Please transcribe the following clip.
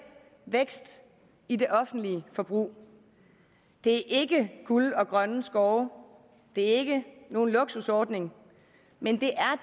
vækst i det offentlige forbrug det er ikke guld og grønne skove og det er ikke nogen luksusordning men